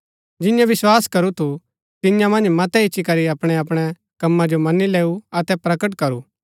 जिन्यैं विस्वास करू थु तियां मन्ज मतै इच्ची करी अपणै अपणै कम्मा जो मनी लैऊ अतै प्रकट करू